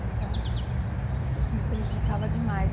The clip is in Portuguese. Então, isso me prejudicava demais.